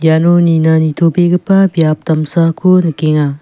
iano nina nitobegipa biap damsako nikenga.